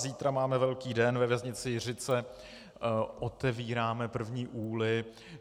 Zítra máme velký den ve věznici Jiřice, otevíráme první úly.